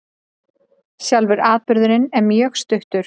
Sjálfur atburðurinn er mjög stuttur